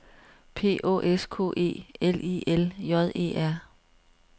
P Å S K E L I L J E R